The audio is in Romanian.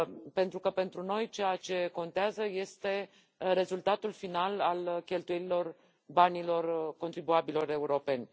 Pentru că pentru noi ceea ce contează este rezultatul final al cheltuielilor banilor contribuabililor europeni.